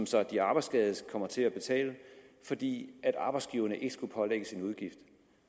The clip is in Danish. som de arbejdsskadede kom til at betale fordi arbejdsgiverne ikke skulle pålægges en udgift